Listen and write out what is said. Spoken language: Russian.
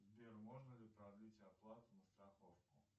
сбер можно ли продлить оплату на страховку